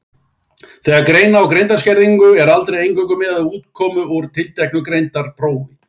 Þegar greina á greindarskerðingu er aldrei eingöngu miðað við útkomu úr tilteknu greindarprófi.